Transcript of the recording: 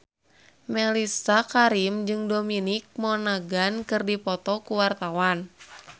Mellisa Karim jeung Dominic Monaghan keur dipoto ku wartawan